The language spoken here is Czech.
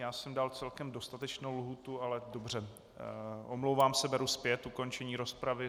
Já jsem dal celkem dostatečnou lhůtu, ale dobře, omlouvám se, beru zpět ukončení rozpravy.